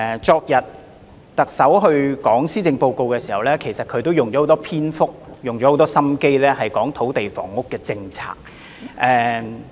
昨天特首宣讀施政報告時，她花了很多篇幅用心闡述土地房屋政策。